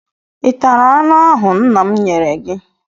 Ị tara anụ ahụ nna m nyere gị?